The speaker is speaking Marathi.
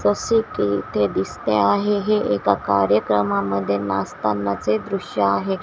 फॉसेटी इथे दिसते आहे हे एका कार्यक्रमामध्ये नाचताना चे दृश्य आहे.